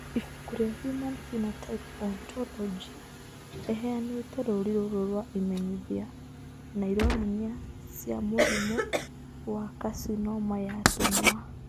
Ibuku rĩa Human Phenotype Ontology rĩheanĩte rũũri rũrũ rwa imenyithia na ironania cia mũrimũ wa carcinoma ya tũnua.